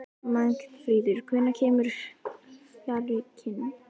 Magnfríður, hvenær kemur fjarkinn?